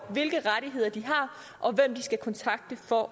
hvilke rettigheder de har og hvem de skal kontakte for